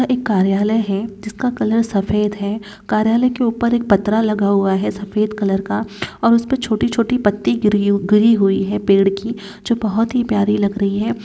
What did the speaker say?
यह एक कार्यालय है जिसका कलर सफेद है कार्यालय के ऊपर एक पत्रा लगा हुआ है सफेद कलर का और उसपे छोटी-छोटी पत्ती गिरी गिरी हुई है पेड़ की जो बहुत ही प्यारी लग रही है।